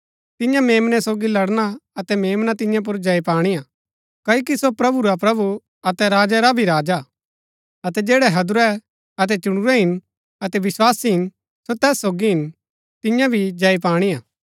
तिन्या मेम्नै सोगी लड़ना अतै मेम्ना तियां पुर जय पाणिआ क्ओकि सो प्रभु रा प्रभु अतै राजा रा भी राजा हा अतै जैड़ै हैदुरै अतै चुणुरै हिन अतै विस्वासी हिन सो तैस सोगी हिन तिन्या भी जय पाणी हा